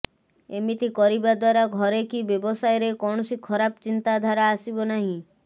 ଏମିତି କରିବା ଦ୍ବାରା ଘରେ କି ବ୍ୟବସାୟରେ କୌଣସି ଖରାପ ଚିନ୍ତା ଧାରା ଆସିବ ନାହିଁ